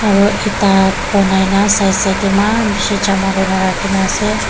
aro ekta side side de eman bishi jama kuri na rakhi na ase.